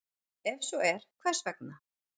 Ef svo er, hvers vegna?